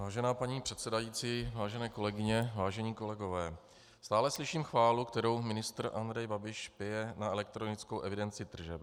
Vážená paní předsedající, vážené kolegyně, vážení kolegové, stále slyším chválu, kterou ministr Andrej Babiš pěje na elektronickou evidenci tržeb.